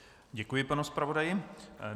Děkuji panu zpravodaji.